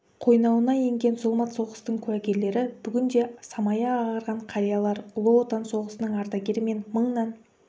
қойнауына енген зұлмат соғыстың куәгерлері бүгінде самайы ағарған қариялар ұлы отан соғысының ардагері мен мыңнан